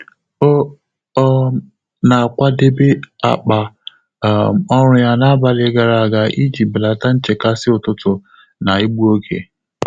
Ọ́ um nà-àkwàdèbé ákpá um ọ́rụ́ yá n’ábàlị̀ gàrà ága ìjí bèlàtà nchékàsị́ ụ́tụ́tụ̀ nà ígbú óge.